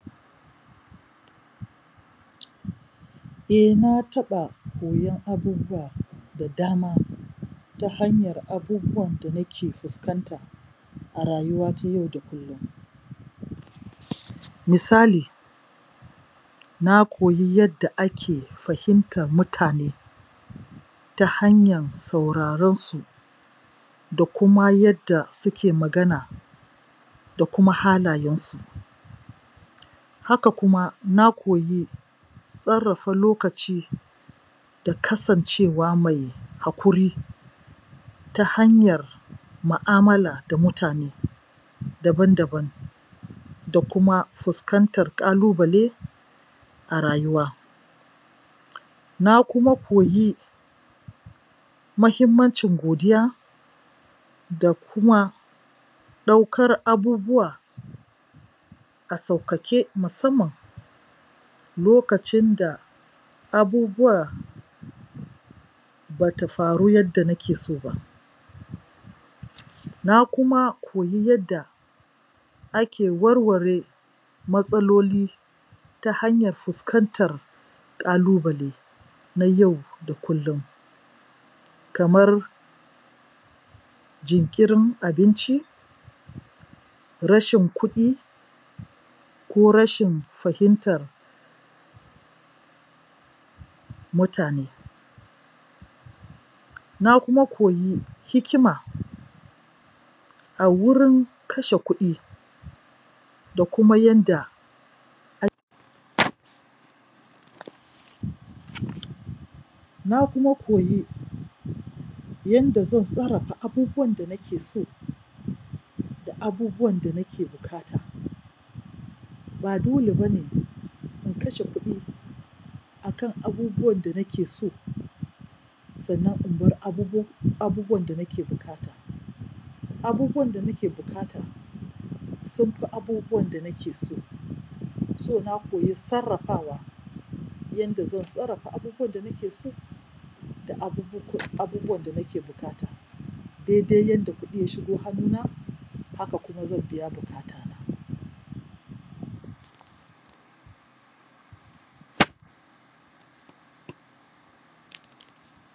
um eh na taɓa koyon abubuwa da dama ta hanyar abubuwan da nike fuskanta a rayuwa ta yau kullum um misali na koyi yadda ake fahimtar mutane ta hanyan sauraronsu da kuma yadda suke magana da kuma halayensu haka kuma na koyi sarrafa lokaci da kasancewa mai haƙuri ta hanyar mu'amala da mutane daban-daban da kuma fuskantar kalubale a rayuwa na kuma koyi mahimmancin godiya da kuma ɗaukar abubuwa a sauƙaƙe musamman lokacin da abubuwa bata faru yadda nakeso ba na kuma koyi yadda ake warware matsaloli ta hanyar fuskantar ƙalubale na yau da kullun kamar jinkirin abinci rashin kuɗi ko rashin fahimtar mutane na kuma koyi hikima a wurin kashe kuɗi da kuma yanda ak.. u umm na kuma koyi um yanda zan sarrafa abubuwan da nikeso da abubuwan da nake bukata ba dole bane in kashe kuɗi akan abubuwan da nake so sannan inbar abu.. abubuwan da nake buƙata abubuwan da nake bukata sunfi abubuwan da nake so so na koyi sarrafawa yanda zan sarrafa abubuwan da nake so da abubuwak..abubuwan da nake bukata dede yanda kudi ya shigo hannuna hakan kuma zan biya bukata na pause